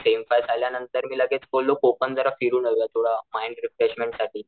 same six झाल्या नंतर मी लगेच बोललो कोकण जरा फिरून येऊया थोडं माईंड रेफ्रेशमेंट साठी,